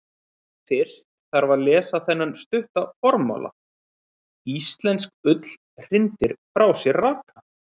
Fyrst þarf að lesa þennan stutta formála: Íslensk ull hrindir frá sér raka.